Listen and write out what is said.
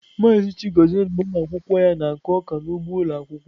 Maazị Chigozie na ụmụ akwụkwọ ya na-akụ ọka n'ugbo ụlọ akwụkwọ.